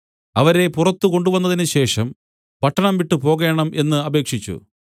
അവരെ പുറത്ത് കൊണ്ടുവന്നതിനു ശേഷം പട്ടണം വിട്ടുപോകേണം എന്ന് അപേക്ഷിച്ചു